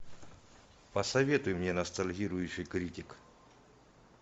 посоветуй мне ностальгирующий критик